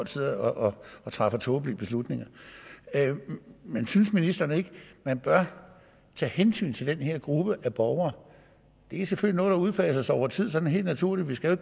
sidder og træffer tåbelige beslutninger men synes ministeren ikke man bør tage hensyn til den her gruppe af borgere det er selvfølgelig noget der udfases over tid sådan helt naturligt vi skal